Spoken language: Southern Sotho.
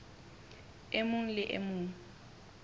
e mong le e mong